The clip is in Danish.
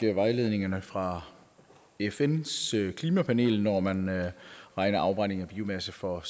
vejledningerne fra fns klimapanel når man regner afbrænding af biomasse for